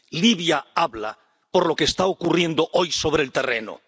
Libia habla por lo que está ocurriendo hoy sobre el terreno.